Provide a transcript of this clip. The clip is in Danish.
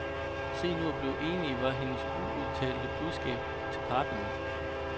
Se nu at blive enige, var hendes uudtalte budskab til parterne.